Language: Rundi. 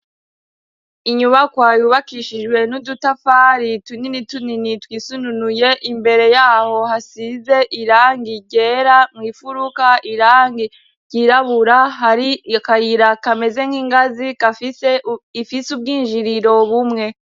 Inyubako ayubakishijwe n'udutafari tunini tunini twisununuye imbere yaho hasize irangi rera mw'ifuruka irangi ryirabura hari akayira kameze nk'ingazi gafise ifise ubwinjiriro bumwe.